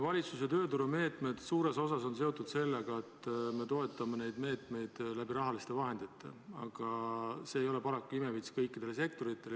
Valitsuse tööturumeetmed on suures osas seotud sellega, et me toetame neid meetmeid rahaliste vahenditega, aga see ei ole paraku imevits kõikidele sektoritele.